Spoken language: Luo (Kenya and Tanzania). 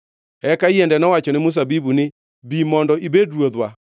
“Eka yiende nowachone mzabibu ni, ‘Bi mondo ibed ruodhwa.’